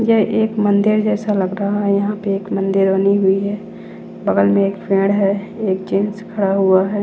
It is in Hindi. ये एक मंदिर जैसा लग रहा हैं। यहां पे एक मंदिर बनी हुई हैं। बगल में एक पेड़ है। एक जिंस खड़ा हुआ है।